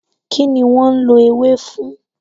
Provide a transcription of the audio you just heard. Kí ni wọ́n ń lò ewé fún?